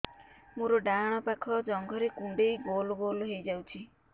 ମୋର ଡାହାଣ ପାଖ ଜଙ୍ଘରେ କୁଣ୍ଡେଇ ଗୋଲ ଗୋଲ ହେଇଯାଉଛି